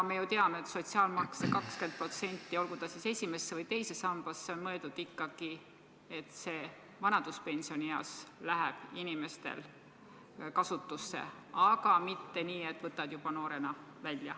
Me ju teame, et sotsiaalmaks 20%, mingu see esimesse või teise sambasse, on mõeldud ikkagi kasutamiseks vanaduspensionieas, aga mitte nii, et võtad juba noorena välja.